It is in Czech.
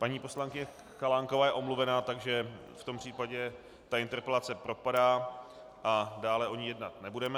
Paní poslankyně Chalánková je omluvená, takže v tom případě tato interpelace propadá a dále o ní jednat nebudeme.